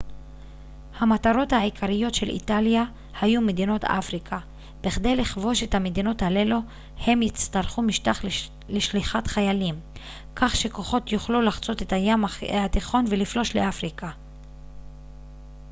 המטרות העיקריות של איטליה היו מדינות אפריקה בכדי לכבוש את המדינות הללו הם יצטרכו משטח לשליחת חיילים כך שכוחות יוכלו לחצות את הים התיכון ולפלוש לאפריקה